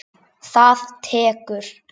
Það tekur